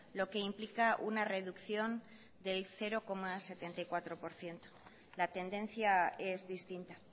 lo que implica una reducción del cero coma setenta y cuatro por ciento la tendencia es distinta